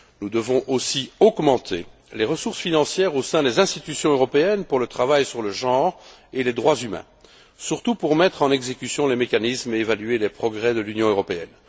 Nous devons aussi augmenter les ressources financières au sein des institutions européennes pour le travail sur le genre et les droits humains, notamment pour mettre en œuvre les mécanismes et évaluer les progrès de l'Union européenne.